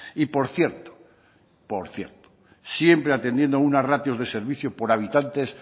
y por cierto por cierto siempre atendiendo a unas ratios de servicio por habitantes